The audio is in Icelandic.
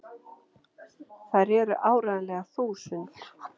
Þær eru áreiðanlega þúsund!!